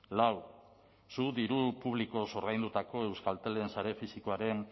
lau zu diru publikoz ordaindutako euskaltelen sare fisikoaren